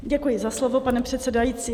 Děkuji za slovo, pane předsedající.